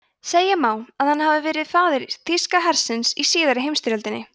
segja má að hann hafi verið faðir þýska hersins í síðari heimsstyrjöldinni